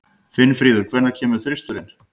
Finnfríður, hvenær kemur þristurinn?